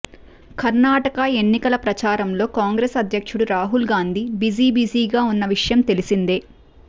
కర్ణాటక ఎన్నికల ప్రచారంలో కాంగ్రెస్ అధ్యక్షుడు రాహుల్ గాంధీ బిజీబిజీగా ఉన్న విషయం తెలిసిందే